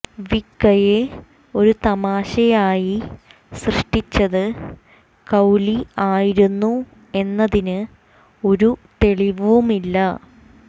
വിക്ക്കയെ ഒരു തമാശയായി സൃഷ്ടിച്ചത് ക്രൌലി ആയിരുന്നു എന്നതിന് ഒരു തെളിവുമില്ല